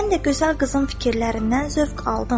Mən də gözəl qızın fikirlərindən zövq aldım.